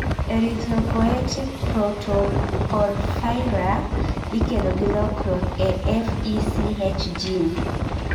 Erythropoietic protoporphyria ikelo gi lokruok e FECH gene